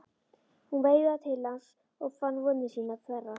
Hún veifaði til hans og hann fann vonir sínar þverra.